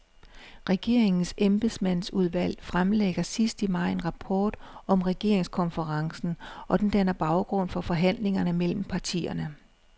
Regeringens embedsmandsudvalg fremlægger sidst i maj en rapport om regeringskonferencen, og den danner baggrund for forhandlingerne mellem partierne.